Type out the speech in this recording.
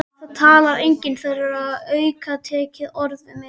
Það talar enginn þeirra aukatekið orð við mig.